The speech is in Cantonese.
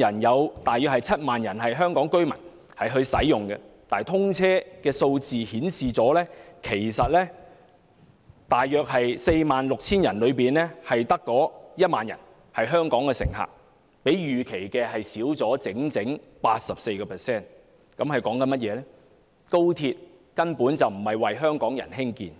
人中，大約有 70,000 名為香港居民，但通車數字顯示，在 46,500 名乘客中，只有約 10,000 名香港乘客，比預期少 84%， 這代表高鐵根本不是為香港人興建。